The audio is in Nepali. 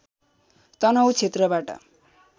तनहुँ क्षेत्रबाट